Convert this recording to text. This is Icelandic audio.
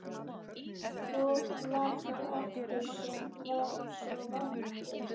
Hvor var það aftur sem var svo vondur?